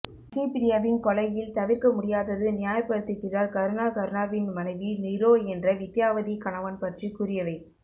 இசைப்பிரியாவின் கொலையில் தவிற்கமுடியாதது நியாயப்படுத்துகிறார் கருணா கருணாவின் மனைவி நிரோ என்ற வித்தியாவதி கணவன் பற்றி கூறியவை